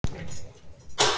Bára og Ingvi.